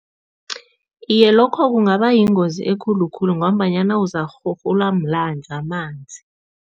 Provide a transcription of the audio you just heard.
Iye, lokho kungaba yingozi ekulu khulu ngombanyana uzakurhurhulwa mamanzi.